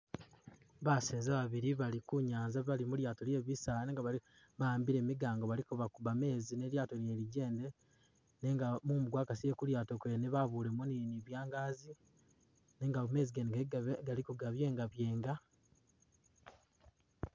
Baseza babili bali ku nyanza bali mulyaato lye bisaala nenga bali bawambile bali ko kuuba meezi ne lyaato lyene ligende nenga mumu gwakasile Ku lyaato kwene babulemo ni byangazi nenga meezi gene gali gali go gabyenga byenga